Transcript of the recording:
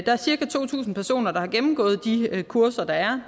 der er cirka to tusind personer der har gennemgået de kurser der er